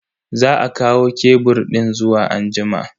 Za a kawo kebur din zuwa anjima.